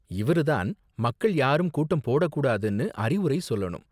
இவரு தான் மக்கள் யாரும் கூட்டம் போடக் கூடாதுனு அறிவுரை சொல்லணும்.